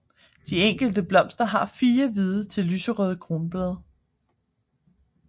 De enkelte blomster har fire hvide til lyserøde kronblade